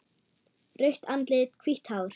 Rautt andlit, hvítt hár.